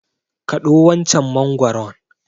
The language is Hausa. Kaɗo wancan mangwaron!